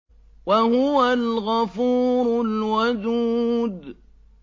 وَهُوَ الْغَفُورُ الْوَدُودُ